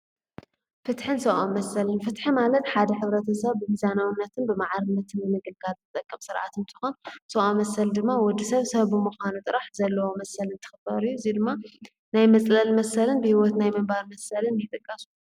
ፍትሐን ሰውዓ መሰልን ፍትሐ ማለጥ ሓደ ኅብረተ ሰብ ብጊዛናዉነትን ብመዓርነትን ንግጋ ዘጠቀም ሥርዓትእንተኾን ሥውዓ መሰል ድማ ወዲ ሰብ ሰብብ ምዃኑ ጥራሕ ዘለዋ መሰልን ትኽበርዩ ዙይ ድማ ናይ መጽለል መሰልን ብሕይወት ናይ መንባር መሰልን ይጠቃሱ።